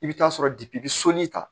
I bɛ taa sɔrɔ i bɛ sɔnni ta